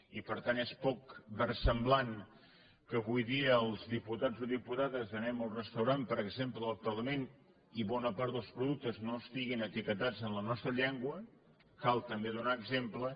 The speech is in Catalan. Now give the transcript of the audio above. i per tant és poc versemblant que avui dia els diputats o diputades anem al restaurant per exemple del parlament i bona part dels productes no estiguin etiquetats en la nostra llengua cal també donar exemple